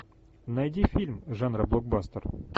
найди фильм жанра блокбастер